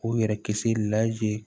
K'u yɛrɛ kisi